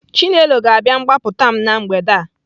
Chinelo ga-abịa gbapụta m na mgbede a.